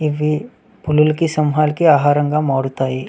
ఇవి పులులకి సింహాలకి ఆహారము గా మారుతాయి.